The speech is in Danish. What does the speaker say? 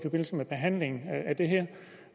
halvering